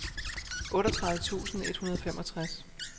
otteogtredive tusind et hundrede og femogtres